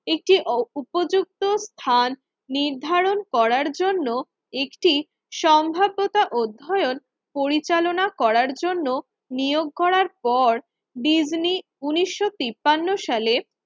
একটি অপ উপযুক্ত স্থান নির্ধারণ করার জন্য একটি সম্ভাব্যতা অধ্যয়ন পরিচালনা করার জন্য নিয়োগ করার পর ডিজনি উন্নিশশো তিপান্ন সালে